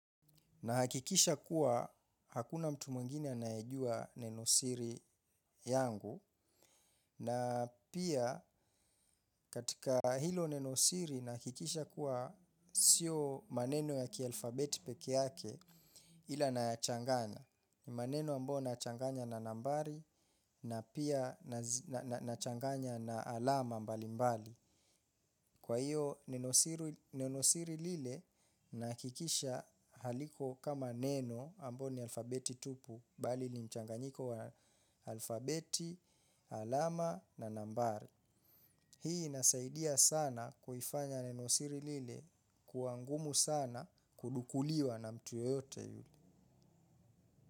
Nahakikisha kuwa hakuna mtu mwingine anayejua nenosiri yangu na pia katika hilo nenosiri nahakikisha kuwa sio maneno ya kialfabeti pekee yake ila nayachanganya. Ni maneno ambayo nachanganya na nambari na pia nachanganya na alama mbali mbali. Kwa hiyo nenosiri lile nahakikisha haliko kama neno ambao ni alfabeti tupu bali ni mchanganyiko wa alfabeti, alama na nambari. Hii inasaidia sana kuifanya nenosiri lile kuwa ngumu sana kudukuliwa na mtu yeyote yule.